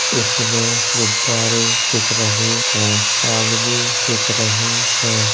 इसमें गुब्बारे दिख रहे हैं। आदमी दिख रहे हैं।